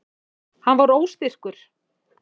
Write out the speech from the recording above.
Hann var óstyrkur.